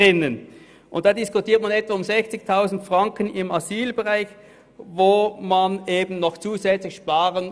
Da will man zusätzlich noch etwa 60 000 Franken im Asylbereich sparen.